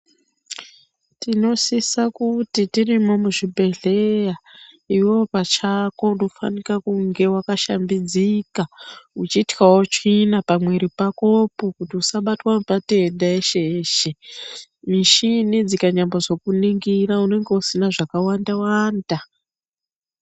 Tinosisa kuti tirimo muzvibhedhleya, iwewe pachako unofanika kunge wakashambidzika uchityawo tsvina pamwiri pakopo kuti usabatwa nematenda eshe-eshe. Mishini dzikanyambozokuningira unenge usina zvakawanda-wanda.